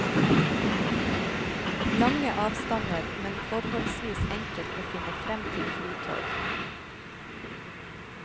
Lange avstander, men forholdsvis enkelt å finne frem til flytog.